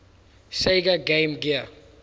sega game gear